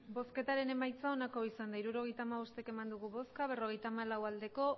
emandako botoak hirurogeita hamabost bai berrogeita hamalau ez